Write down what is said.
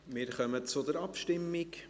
Wir kommen zur Abstimmung.